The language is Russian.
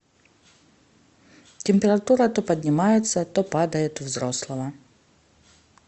температура то поднимается то падает у взрослого